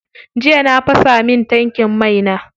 Jiya na fasa min tankin mai na.